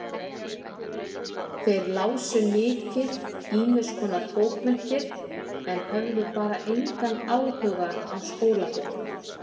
Þeir lásu mikið ýmiskonar bókmenntir en höfðu bara engan áhuga á skólabókum.